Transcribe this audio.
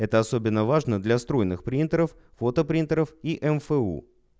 это особенно важно для струйных принтеров фото принтеров и мфу